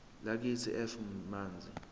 lakithi f manzi